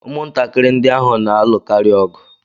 Ụmụntakịrị ndị ahụ na-alụkarị ọgụ.